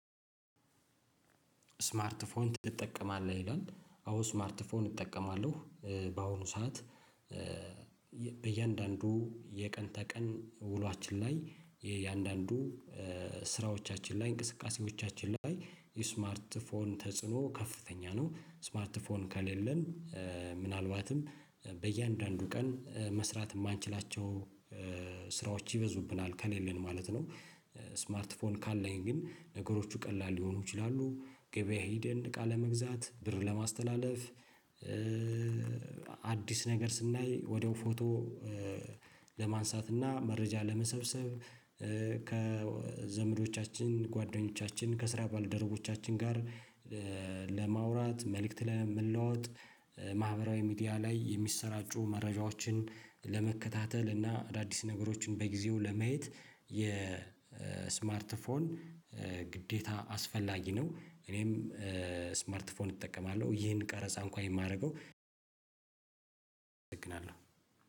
ስማርትፎን ትጠቀማለህ ይላል አዎ ስማርትፎን እጠቀማለሁ በአሁኑ ሰዓት ሰዓት በእያንዳንዱ የቀን ተቀን ውሏችን ላይ የእያንዳንዱ ስራዎቻችን ላይ እንቅስቃሴዎቻችን ላይ የስማርት ፎን ተጽዕኖ ከፍተኛ ነው። ስማርት ፎን ከሌለን ምናልባትም በእያንዳንዱ ቀን መስራት የማንችላቸው ስራዎች ይበዙብናል ከሌለን ማለት ነው። ስማርት ፎን ካለኝ ግን ነገሮቹ ቀላል ሊሆኑ ይችላሉ። ገበያ ሂድን እቃ ለመግዛት ብር ለማስተላለፍ። አዲስ ነገር ስናይ ወዲያው ፎቶ ለማንሳት እና መረጃ ለመሰብሰብ። ከዘመዶቻችን ጓደኞቻችን ከስራ ባለደረቦቻችን ጋር። ለማውራት መልእክት ለመለዋወጥ ማህበራዊ ሚዲያ ላይ የሚሰራጩ መረጃዎችን ለመከታተል እና አዳዲስ ነገሮችን በጊዜው ለመየት የስማርት ፎን። ግዴታ አስፈላጊ ነው። እኔም ስማርት ፎን እጠቀማለሁ ይህን ቀረጻ እንኳን የማደርገው እጠግናለሁ